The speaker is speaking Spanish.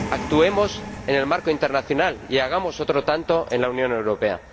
Actuemos en el marco internacional y hagamos otro tanto en la Unión Europea.